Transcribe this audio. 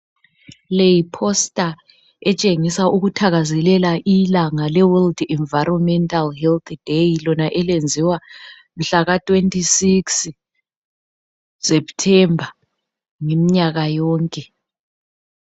Le yiphosta ethengisa ukuthakazelela ilanga leWorld Environmental health day lona elenziwa nhlaka 26 september ngemnyaka yonke